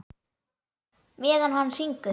Meðan hann syngur.